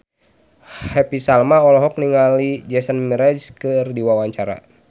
Happy Salma olohok ningali Jason Mraz keur diwawancara